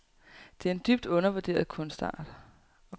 Det er en dybt undervurderet kunstart.